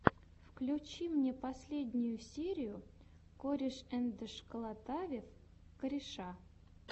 включи мне последнюю серию корешэндшколотавев кореша